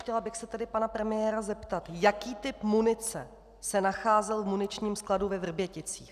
Chtěla bych se tedy pana premiéra zeptat: Jaký typ munice se nacházel v muničním skladu ve Vrběticích?